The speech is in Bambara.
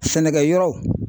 Sɛnɛkɛyɔrɔ